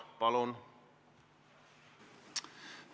Palun!